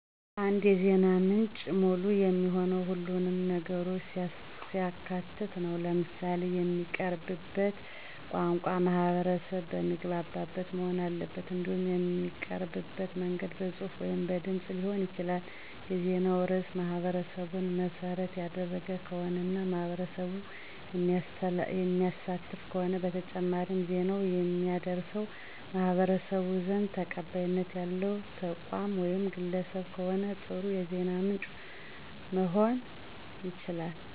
አንድ የዜና ምንጭ ሙሉ የሚሆነው ሁሉንም ነገሮች ሲያካትት ነው። ለምሳሌ የሚቀረብበት ቋንቋ ማህበረሰብ በሚግባበት መሆን አለበት። እንዲሁም የሚቀርብበት መንገድ በጽሑፍ ወይም በድምጽ ሊሆን ይችላል። የዜናው ርዕስ ማህበረሰቡን መሰረት ያደረገ ከሆነ እና ማህበረሰቡን የሚያሳትፍ ከሆነ በተጨማሪም ዜናውን የሚያደርሰዉ በማህበረሰቡ ዘንድ ተቀባይነት ያለዉ ተቋም ወይም ግለሰብ ከሆነ ጥሩ የዜና ምንጭ መሆን ይችላል።